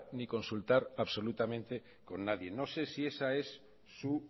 ni consultar absolutamente con nadie no sé si esa es su